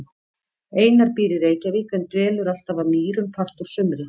Einar býr í Reykjavík en dvelur alltaf að Mýrum part úr sumri.